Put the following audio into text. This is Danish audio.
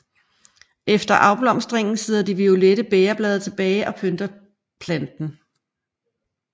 Efter afblomstringen sidder de violette bægerblade tilbage og pynter planten